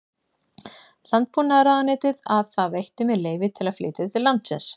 Landbúnaðarráðuneytið að það veitti mér leyfi til að flytja til landsins